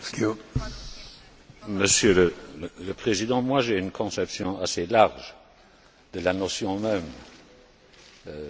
Monsieur le Président, j'ai une conception assez large de la notion même de gouvernement économique.